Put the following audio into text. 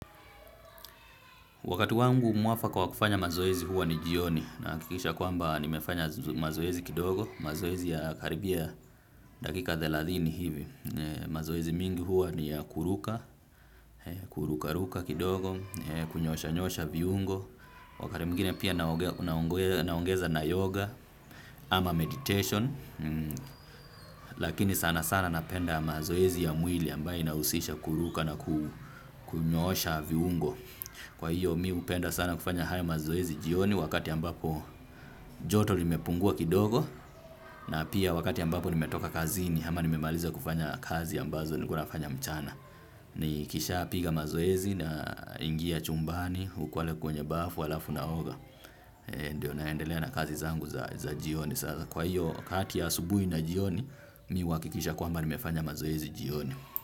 Wakati wangu mwafaka wa kufanya mazoezi huwa ni jioni nahakikisha kwamba nimefanya mazoezi kidogo mazoezi ya karibia dakika thelathini hivi. Mazoezi mingi huwa ni ya kuruka, kuruka ruka kidogo, kunyosha nyosha viungo. Wakati mwingine pia naongeza na yoga ama meditation lakini sana sana napenda mazoezi ya mwili ambaye inahusisha kuruka na kunyoosha viungo. Kwa hiyo mi hupenda sana kufanya haya mazoezi jioni wakati ambapo joto limepungua kidogo. Na pia wakati ambapo nimetoka kazini ama nimemaliza kufanya kazi ambazo nilikuwa nafanya mchana. Nikisha piga mazoezi na ingia chumbani ukwale kwenye bafu alafu naoga. Ndio naendelea na kazi zangu za jioni. Kwa hiyo kati ya asubuhi na jioni mimi huhakikisha kwamba nimefanya mazoezi jioni.